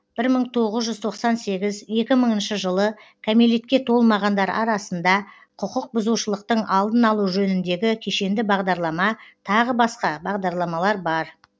бір мың тоғыз жүз тоқсан сегіз екі мыңыншы жылы кәмелетке толмағандар арасында құқық бұзушылықтың алдын алу жөніндегі кешенді бағдарлама тағы басқа бағдарламалар бар